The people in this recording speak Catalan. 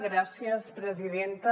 gràcies presidenta